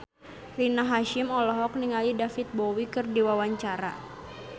Rina Hasyim olohok ningali David Bowie keur diwawancara